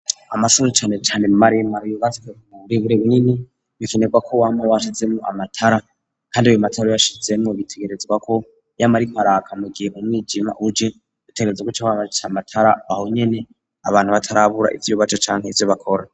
Amasuru canecane maremar yobatswemuburebure bunini bikenerwa ko wama washizemo amatara, kandi yo matara yashizemo bitegerezwako yamariko araka mugihe umwijima uje utegereza gu co wamajica amatara bahonyene abantu batarabura ivyo ubaco canke ivyo bakora.